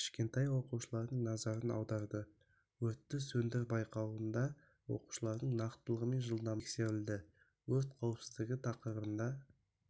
кішкентай оқушылардың назарын аударды өртті сөндір байқауында оқушылардың нақтылығы мен жылдамдығы тексерілді өрт қауіпсіздігі тақырыбында